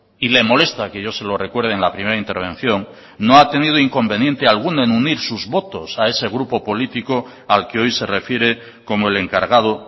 y le molesta que yo se lo recuerde en la primera intervención no ha tenido inconveniente alguno en unir sus votos a ese grupo político al que hoy se refiere como el encargado